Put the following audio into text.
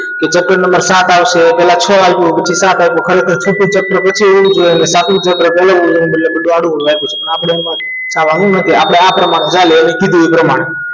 Chepter number સાત આપશે પહેલા છ આવ્યું પછી સાથ આવ્યું ખરેખર છઠ્ઠા chapter પછી ખરેખર સાતમું chapter ચલાવવું જોઈએ એને બદલે બધું આડું અવળું આપ્યું છે આપણે એમાં ખોવાનું નથી આપણે આ પ્રમાણે ચાલીએ એને કીધું એ પ્રમાણે